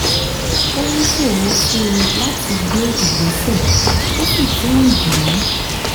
ó ń ṣòro fún un láti gbé ìgbésẹ̀ ó sì tún ń dùn dùn ún